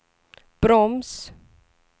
broms